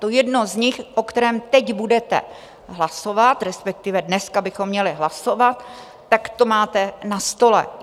To jedno z nich, o kterém teď budete hlasovat, respektive dneska bychom měli hlasovat, tak to máte na stole.